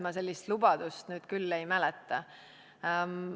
Ma sellist lubadust küll ei mäleta.